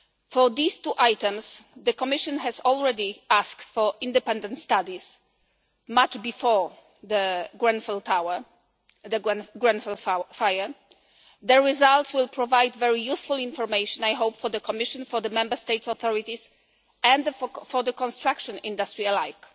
For these two items, the Commission already asked for independent studies long before the Grenfell Tower fire, and the results will provide very useful information I hope for the Commission, for the Member State authorities, and the construction industry alike.